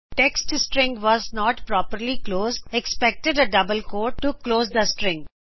text string was not properly closed expected a double quote to close the string